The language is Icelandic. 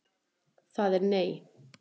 Það er nei.